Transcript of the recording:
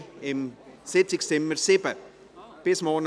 Dieser findet im Sitzungszimmer 7 statt.